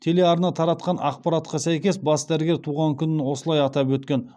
телеарна таратқан ақпаратқа сәйкес бас дәрігер туған күнін осылай атап өткен